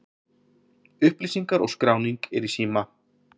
Upplýsingar og skráning er í síma.